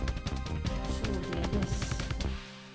således